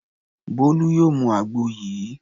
Bólú yóò mu àgbo yìí.